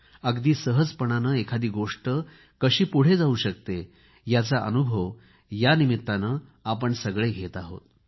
अगदी सहजपणाने एखादी गोष्ट कशी पुढे जाऊ शकते याचा अनुभव आपण सगळे घेत आहोत